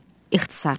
ixtisarla.